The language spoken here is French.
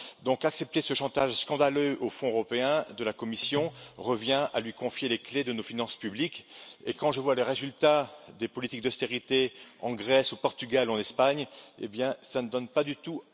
Donc, accepter ce chantage scandaleux aux fonds européens, de la part de la Commission, revient à lui confier les clés de nos finances publiques et quand je vois les résultats des politiques d'austérité en Grèce, au Portugal, en Espagne, cela ne donne pas du tout